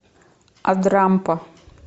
адрампа